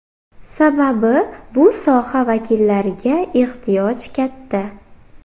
Sababi bu soha vakillariga ehtiyoj katta.